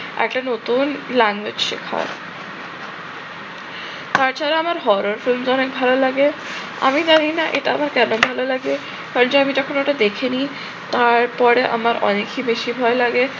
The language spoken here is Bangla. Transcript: একটা নতুন language শেখার তাছাড়া আমার horror films তো অনেক ভালো লাগে আমি জানি না এটা আমার কেন ভাল লাগে। যে আমি যখন ওটা দেখে নিই তারপরে আমার অনেকই বেশি ভয় লাগে।